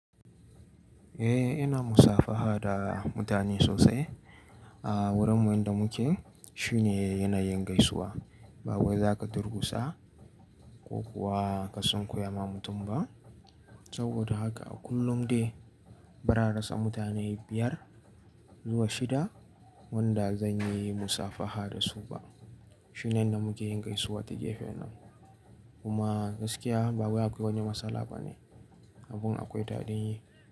Eh ina musafaha da mutane sosai. A wurin wanda muke shine yanayin gaisuwa ba wai za ka durkusa ko kuwa ka sunkuyama mutum ba. Saboda haka a kullum dai bara a rasa mutane biyar zuwa shida wanda zan yi musafaha dasu ba. Shine yanda muke yin gaisuwa ta gefen nan. Kuma gaskiya ba wai akwai wani matsala bane. Abun akwai daɗin yi.